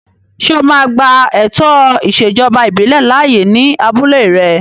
Ṣé o máa gba ètò ìṣèjọba ìbílẹ̀ láàyè ní abúlé rẹ?